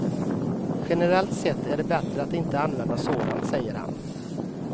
Generellt sett är det bättre att inte använda sådant, säger han.